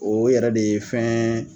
O ye yɛrɛ de ye fɛn